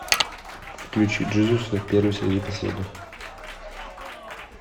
включи джизуса первый среди последних